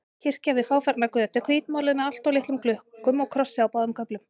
Kirkja við fáfarna götu, hvítmáluð með alltof litlum gluggum og krossi á báðum göflum.